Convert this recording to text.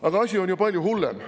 Aga asi on ju palju hullem.